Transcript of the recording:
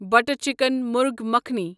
butter chicken مرغ مکھانی